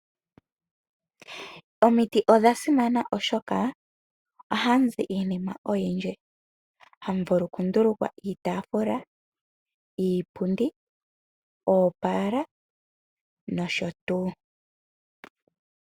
Omiti odha simana oshoka ohamu zi iinima oyindji. Ohamu vulu okundulukwa iitafula, iipundi, oopala nosho tuu.